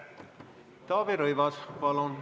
Taavi Rõivas, palun!